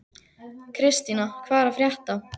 Kristína, hvað er að frétta?